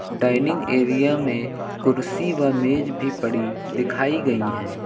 Dining area में कुर्सी व मेज भी पड़ी दिखाई गई है।